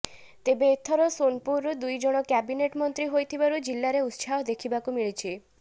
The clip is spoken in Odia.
ତେବେ ଏଥର ସୋନପୁରରୁ ଦୁଇଜଣ କ୍ୟାବିନେଟ୍ ମନ୍ତ୍ରୀ ହୋଇଥିବାରୁ ଜିଲ୍ଲାରେ ଉତ୍ସାହ ଦେଖିବାକୁ ମିଳିଛି